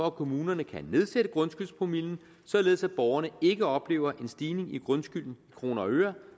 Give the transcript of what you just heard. at kommunerne kan nedsætte grundskyldspromillen således at borgerne ikke oplever en stigning i grundskylden i kroner og øre